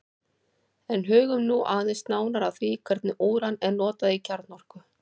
En hugum nú aðeins nánar að því hvernig úran er notað í kjarnorku.